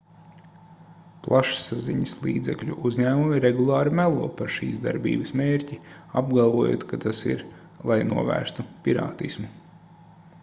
plašsaziņas līdzekļu uzņēmumi regulāri melo par šīs darbības mērķi apgalvojot ka tas ir lai novērstu pirātismu